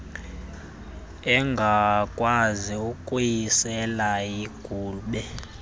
engakwazi ukuyisela yigube